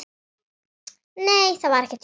Nei, þar var ekkert hjól.